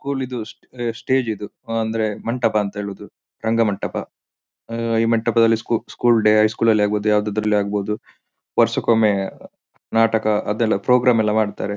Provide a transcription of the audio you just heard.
School ದು stage stage ಇದು ಹ ಅಂದ್ರೆ ಮಂಟಪ ಅಂತ ಹೇಳೋದು ರಂಗಮಂಟಪ ಆಹ್ಹ್ ಈ ಮಂಟಪದಲ್ಲಿ ಸ್ಕೂ ಸ್ಕೂಲ್ ಡೇ ಹೈಸ್ಕೂಲ್ ನಲ್ಲಿ ಅಗಹುದು ಯಾವುದರಲ್ಲಿ ಆಗಬಹುದು ವರ್ಷಕ್ಕೆ ಒಮ್ಮೆ ನಾಟಕ ಅದೆಲ್ಲ ಪ್ರೋಗ್ರಾಮ್ ಎಲ್ಲ ಮಾಡ್ತಾರೆ.